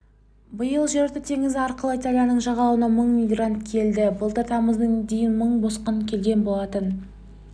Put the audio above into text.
биыл жерорта теңізі арқылы италияның жағалауына мың мигрант келді былтыр тамыздың дейін мың босқын келген болатын